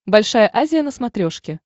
большая азия на смотрешке